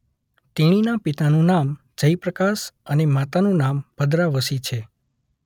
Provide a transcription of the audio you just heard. તેણીના પિતાનું નામ જય પ્રકાશ અને માતાનું નામ ભદ્રા વશી છે.